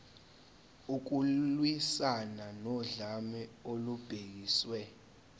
ukulwiswana nodlame olubhekiswe